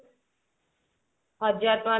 ହଜାର ଟଙ୍କା